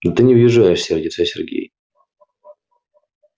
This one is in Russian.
да ты не въезжаешь сердится сергей